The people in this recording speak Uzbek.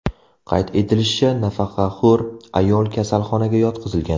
Qayd etilishicha, nafaqaxo‘r ayol kasalxonaga yotqizilgan.